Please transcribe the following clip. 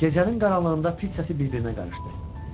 Gecənin qaranlığında fit səsi bir-birinə qarışdı.